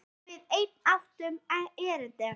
Þegar við enn áttum erindi.